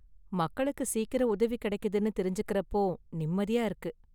மக்களுக்கு சீக்கிரம் உதவி கிடைக்குதுன்னு தெரிஞ்சுக்கிறப்போ நிம்மதியா இருக்கு.